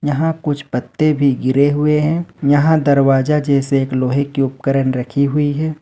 यहां कुछ पत्ते भी गिरे हुए हैं यहां दरवाजा जैसे एक लोहे के उपकरण रखी हुई है।